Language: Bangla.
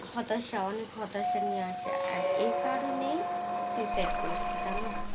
হতাশা অনেক হটাৎ নিয়ে আসে and এই কারণে suicide করেছে জানো